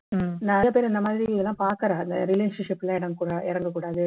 நிறைய பேரு இந்த மாதிரிலாம் பாக்குறால்ல relationship ல இறங்க கூடா இறங்க கூடாது